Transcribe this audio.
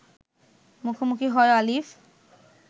মুখোমুখি হয় আলিফ